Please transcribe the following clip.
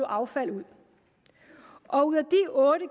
affald ud og ud af de otte